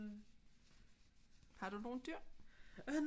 Har du nogen dyr